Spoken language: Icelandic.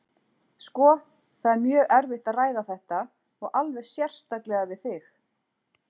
Sko, það er mjög erfitt að ræða þetta, og alveg sérstaklega við þig.